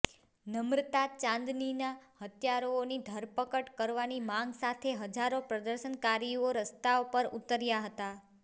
નમ્રતા ચાંદનીના હત્યારાઓની ધરપકડ કરવાની માગ સાથે હજારો પ્રદર્શનકારીઓરસ્તા પર ઉતર્યા હતા